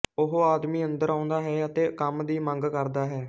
ਉਹ ਆਦਮੀ ਅੰਦਰ ਆਉਂਦਾ ਹੈ ਅਤੇ ਕੰਮ ਦੀ ਮੰਗ ਕਰਦਾ ਹੈ